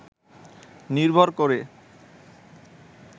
নির্ভর করে